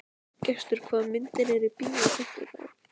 Gestur, hvaða myndir eru í bíó á fimmtudaginn?